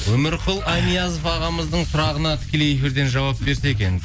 өмірқұл анязов ағамыздың сұрағына тікелей эфирден жауап берсе екен